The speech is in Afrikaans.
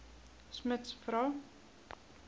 smuts vra